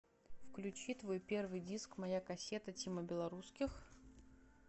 включи твой первый диск моя кассета тима белорусских